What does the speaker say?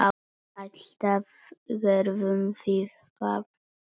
Alltaf gerðum við það.